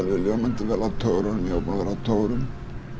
ljómandi vel á togurum ég var búinn að vera á togurum